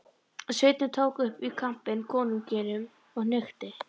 Sveinninn tók upp í kampinn konunginum og hnykkti.